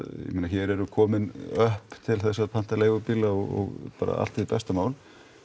hér eru komin öpp til þess að panta leigubíla og allt hið besta mál